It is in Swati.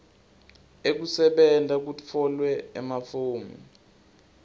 ekusebenta kutfolwe emafomu